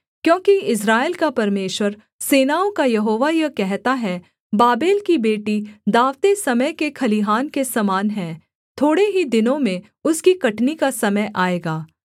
क्योंकि इस्राएल का परमेश्वर सेनाओं का यहोवा यह कहता है बाबेल की बेटी दाँवते समय के खलिहान के समान है थोड़े ही दिनों में उसकी कटनी का समय आएगा